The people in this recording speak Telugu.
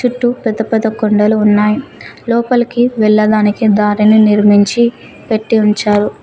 చుట్టూ పెద్ద పెద్ద కొండలు ఉన్నాయి. లోపలికి వెళ్ళదానికి దారిని నిర్మించి పెట్టి ఉంచారు.